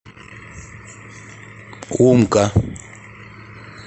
умка